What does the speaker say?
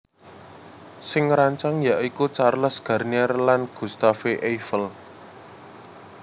Sing ngrancang ya iku Charles Garnier lan Gustave Eiffel